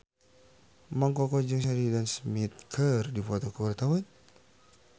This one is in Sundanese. Mang Koko jeung Sheridan Smith keur dipoto ku wartawan